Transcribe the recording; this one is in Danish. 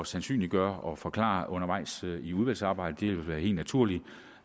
sandsynliggøre og forklare undervejs i udvalgsarbejdet det vil være helt naturligt